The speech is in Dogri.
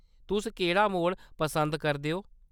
तुस केह्‌‌ड़ा मोड पसंद करदे ओ ?